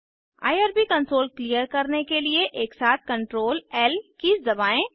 IRB console clear करने के लिए एकसाथ Ctrl ल कीज़ दबाएं